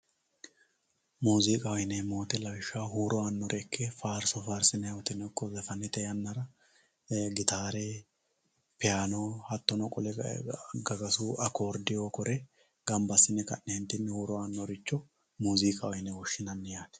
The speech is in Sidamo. Muuzikaho yineemo woyiteno ikko farso farsinemowoyiteno ikko zafane zafani woyiteno horonsinani muuziqa muuziqaho yine woshinani gitare piyayino